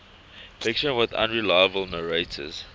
fiction with unreliable narrators